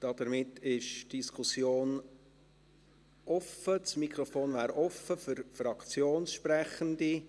Somit wäre das Mikrofon offen für Fraktionssprechende.